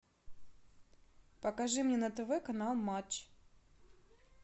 покажи мне на тв канал матч